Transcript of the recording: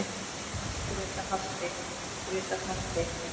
Grétar halti, Grétar halti!